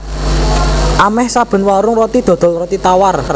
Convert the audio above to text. Amèh saben warung roti dodol roti tawar